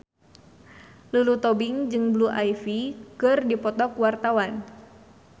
Lulu Tobing jeung Blue Ivy keur dipoto ku wartawan